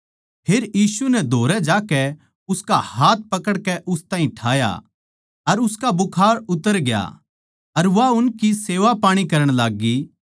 फेर यीशु नै धोरै जाकै उसका हाथ पकड़कै उस ताहीं ठाया अर उसका बुखार उतर ग्या अर वा उनकी सेवापाणी करण लाग्गी